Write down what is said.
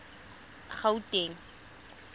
gauteng